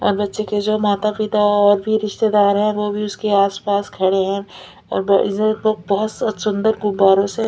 और बच्चे के जो माता पिता है और भी रिस्तेदार हैं वो भी उसके आस-पास खड़े हैं और ब वैसे तो बहुत सुन्दर गुब्बारों से --